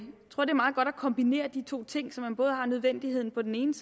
kombinere de to ting så man har nødvendigheden på den ene